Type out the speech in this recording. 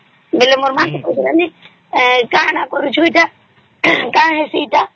ବେଲେ ମୋର ମା କେ କହୁଥିଲା ଯେ କଣ ତା କରୁଚୁ ଏଟା କଣ ହେଇସି ଏଟା